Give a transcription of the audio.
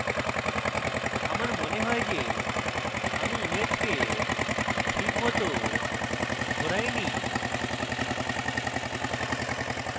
আমার মনে হয় যে আমি ইমেজকে ঠিক মত ঘোরাইনি